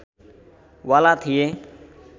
वाला थिए